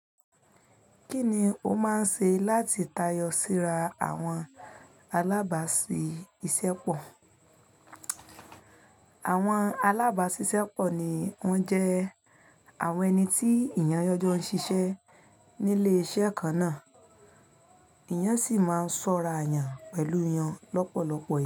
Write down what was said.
Kí ni o máa ń ṣe láti tayọ síra àwọn alábàásisẹ́pọ̀? Àwọn alábàásisẹ́pọ̀ ni wọ́n jẹ́ àwọn ẹni tí èèyàn jo ń ṣiṣẹ́ nílé iṣẹ́ kan náà, èèyàn sì máa ń ṣọ́ra yàn pẹ̀lú wọn lọ́pọ̀lọpọ̀ ìgbà.